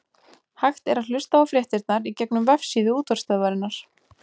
hægt er að hlusta á fréttirnar í gegnum vefsíðu útvarpsstöðvarinnar